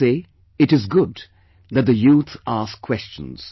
I say it is good that the youth ask questions